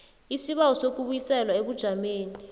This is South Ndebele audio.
isibawo sokubuyiselwa ebujameni